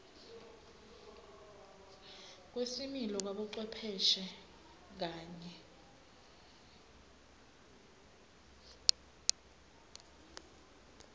kwesimilo kwabocwepheshe kanye